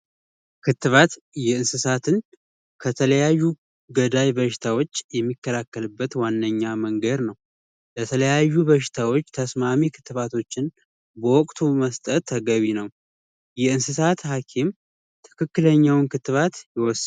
ክትባት የእንስሳትን ከተለያዩ ገዳይ በሽታዎች የሚከላከልበት ዋነኛ መንገድ ነው። ለተለያዩ በሽታዎች ተስማሚ በሽታዎችን በወቅቱ መስጠት ተገቢ ነው። የእንስሳት ሀኪም ትክክለኛውን ክትባት ይሰጣል።